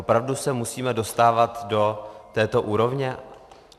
Opravdu se musíme dostávat do této úrovně?